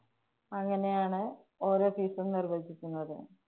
അങ്ങനെയാണ് ഓരോ നിര്‍വഹിക്കുന്നത്.